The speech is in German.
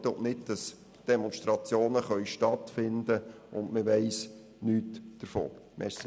Wir wollen verhindern, dass Demonstrationen stattfinden, ohne dass jemand davon weiss.